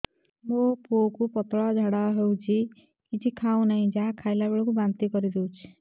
ମୋ ପୁଅ କୁ ପତଳା ଝାଡ଼ା ହେଉଛି କିଛି ଖାଉ ନାହିଁ ଯାହା ଖାଇଲାବେଳକୁ ବାନ୍ତି କରି ଦେଉଛି